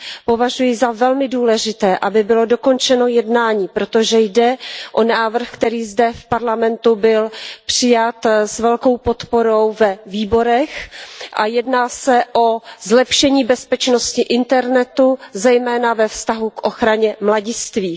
Považuji za velmi důležité, aby bylo dokončeno jednání, protože jde o návrh, který zde v Parlamentu byl přijat s velkou podporou ve výborech, a jedná se o zlepšení bezpečnosti internetu zejména ve vztahu k ochraně mladistvých.